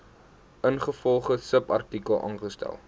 ingevolge subartikel aangestel